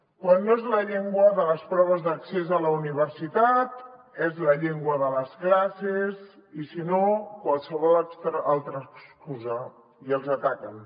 quan no és la llengua de les proves d’accés a la universitat és la llengua de les classes i si no qualsevol altra excusa i els ataquen